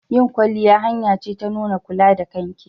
Yin kwalliya hanya ce ta nuna kula da kanki.